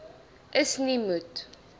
is nie moet